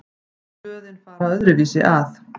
Blöðin fara öðruvísi að.